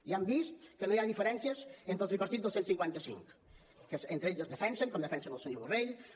ja hem vist que no hi ha diferències entre el tripartit del cent i cinquanta cinc entre ells es defensen com defensen el senyor borrell com